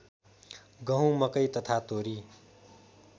गहुँ मकै तथा तोरी